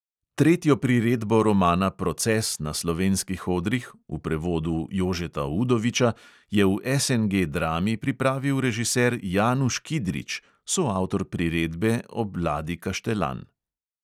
Tretjo priredbo romana proces na slovenskih odrih (v prevodu jožeta udoviča) je v SNG drami pripravil režiser januš kidrič (soavtor priredbe ob ladi kaštelan).